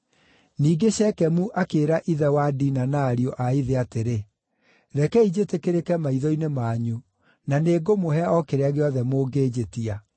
Ningĩ Shekemu akĩĩra ithe wa Dina na ariũ a ithe atĩrĩ, “Rekei njĩtĩkĩrĩke maitho-inĩ manyu na nĩngũmũhe o kĩrĩa gĩothe mũngĩnjĩtia.